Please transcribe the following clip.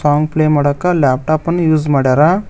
Song play ಮಾಡಕ laptop ಅನ್ use ಮಾಡ್ಯಾರ.